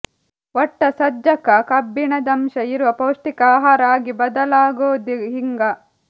ಒಟ್ಟ ಸಜ್ಜಕ ಕಬ್ಬಿಣದಂಶ ಇರುವ ಪೌಷ್ಟಿಕ ಆಹಾರ ಆಗಿ ಬದಲಾಗೂದೆ ಹಿಂಗ